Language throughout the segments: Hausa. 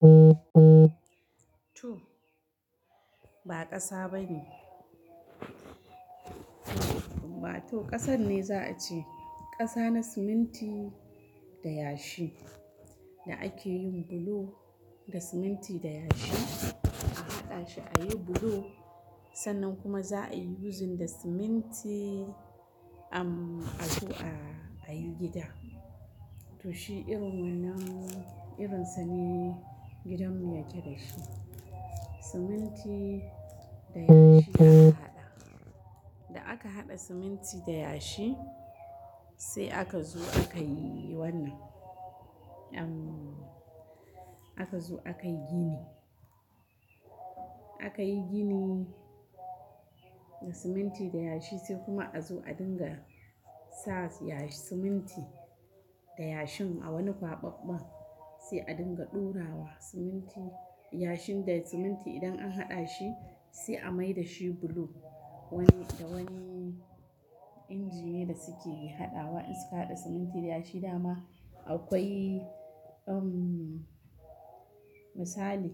To, ba kasa bane. Wa to, kasan ne za a ce. Kasa na siminti da yashi, da akeyin bulo da siminti da yashi. A haɗa shi ayi bulo, sannan kuma za a yi yuzin da siminti, em, a zo a yi gida. To shi irin wannan, irinsa ne gidanmu ya ke da shi. Siminti da yashi aka haɗa. Da aka haɗa siminti da yashi, sai aka zo aka yi wannan. Em, aka zo aka yi gini. Akayi gini, da siminti da yashi sai kuma a zo a dinga sa yashi, siminti da yashin a wani kwaɓaɓɓan. Sai a dinga ɗora wa siminti, yashin da siminti idan an haɗa shi sai a mai da shi bulo. Wani, da wani injine da suke hadawa in suka haɗa siminti da yashi dama, akwai em, misali,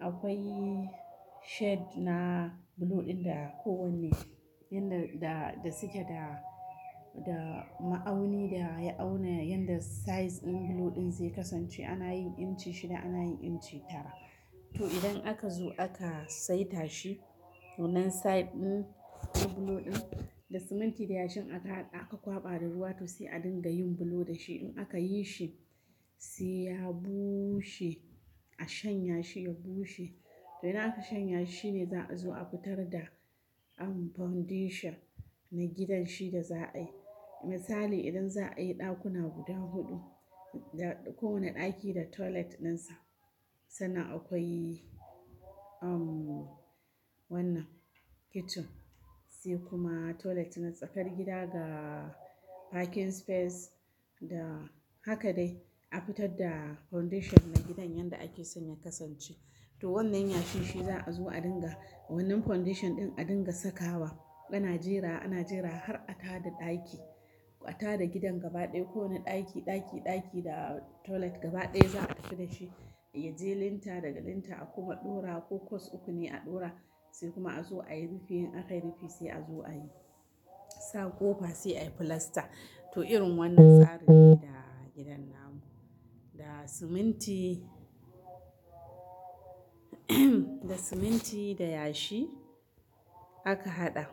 akwai shade na bulo ɗin da kowane, yanda da, da suke da, da ma'auni da ya auna yadda size ɗin bulo ɗin zai kasance. Ana yin inci shida, ana yin inci tara. To idan aka zo aka saita shi, to nan size ɗin na bulo ɗin, da siminti da yashin aka hada, aka kwaɓa da ruwa to sai a dinga yin bulo da shi. In aka yi shi, sai ya bushe. A shanya shi, ya bushe. To idan aka shanya shi ne za a zo a fitar da, em, foundation na gidan shi da za a yi. Misali idan za a yi ɗakuna guda huɗu, da kowane ɗaki da toilet dinsa, sannan akwai, em, wannan kitchen. Sai kuma toilet na tsakar gida ga parking space, da haka dai a fitar da foundation na gidan yanda ake sn ya kasance. To wannan yashi shi za a zo a dinga, wannan foundation ɗin a dinga saka wa. Ana jera, ana jera har a tada ɗaki. A tada gidan gaba ɗaya. Ko wane ɗaki, ɗaki, ɗaki da toilet gaba ɗaya za a tafi da shi. Ya je linta, daga linta a kuma ɗora ko course uku ne a ɗora, sai kuma a zo ayi rufi. In aka yi rufi sai a zo ayi, sa ƙofa sai ayi plaster. To irin wannan tsari ne da gidan namu. Da siminti, da siminti da yashi, aka haɗa.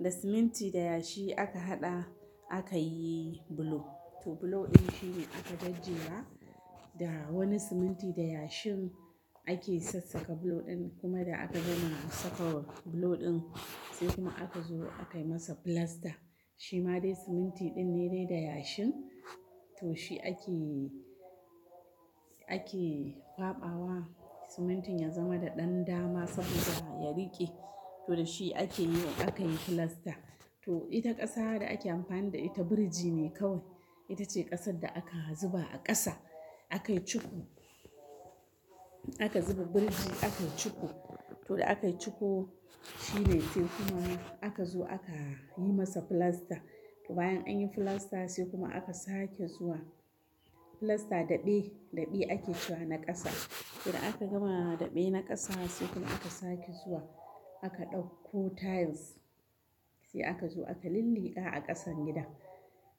Da siminti da yashi aka haɗa, aka yi bulo. To bulo ɗin shi ne aka gajjera, da wani siminti da yashin ake sassaƙa bulo ɗin kuma da aka gama saka bulo ɗin, sai kuma aka zo aka yi masa plaster. Shi ma dai siminti ɗin ne dai da yashin. To shi ake, ake kwaɓa wa simintin ya zama da ɗan dama saboda ya riƙe. To da shi ake yin, aka yi plaster. To ita ƙasa da ake amfani da ita birji ne kawai. Ita ce ƙasar da aka zuba a ƙasa. Aka yi cuko. Aka zuba birji aka yi cuko. To da aka yi cuko, shine sai kuma aka zo aka yi masa plaster. To bayan anyi plaster sai kuma aka sake zuwa, plaster daɓe, daɓe ake cewa na ƙasa. Idan aka gama daɓe na ƙasa sai kuma aka sake zuwa, aka ɗauko tiles. Sai aka zo aka linliƙa a ƙasan gidan.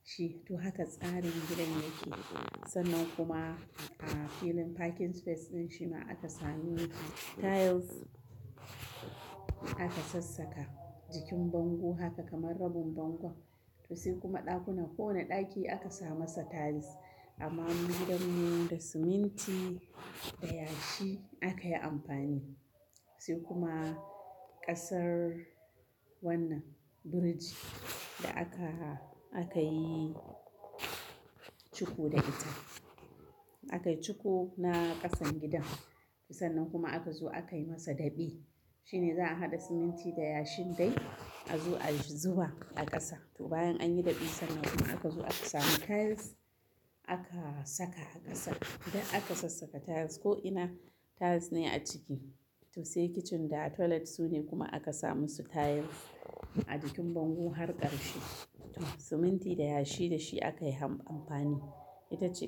Shi, to haka tsarin gidan yake. Sannan kuma a filin parking space ɗin shi ma aka sami tiles aka sassaka. Jikin bango haka kamar rabin bangon. To sai kuma ɗakuna, kowane ɗaki aka sa masa tiles. Amma gidanmu da siminti da yashi aka yi amfani, sai kuma ƙasar wannan birji da aka, aka yi cuku da ita. Aka yi cuko na ƙasan gidan. To sannan kuma aka zo aka yi masa daɓe. Shi ne za a haɗa siminti da yashin dai a zo a zuba a ƙasa. To bayan anyi daɓe sannan kuma aka zo aka sami tiles aka saka a ƙasa. Da aka sassaka tiles. Ko'ina tiles ne a ciki. To sai kitchen da toilet su ne kuma aka sa musu tiles. A jikin bango har ƙarshe. To siminti da yashi da shi aka yi amfani. Ita ce.